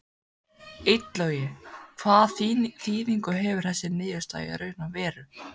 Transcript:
Illugi, hvaða þýðingu hefur þessi niðurstaða í raun og veru?